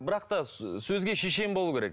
бірақ та сөзге шешен болу керек